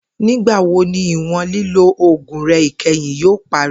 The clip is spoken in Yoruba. Nigbawo ni iwọn lilo oogun rẹ kẹhin yoo pari?.